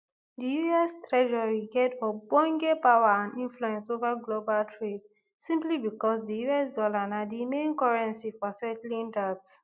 di us treasury get ogbonge power and influence ova global trade simply becos di us dollar na di main currency for settling dat